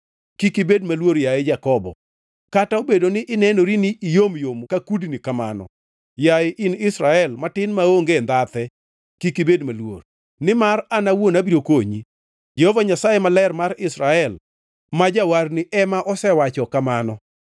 Kik ibed maluor, yaye Jakobo, kata obedo ni inenori ni iyomyom ka kudni kamano, yaye in Israel matin maonge ndhathe kik ibed maluor, nimar an awuon abiro konyi,” Jehova Nyasaye Maler mar Israel, ma Jawarni ema asewacho kamano.